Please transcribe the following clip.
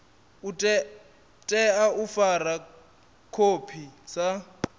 tea u fara khophi sa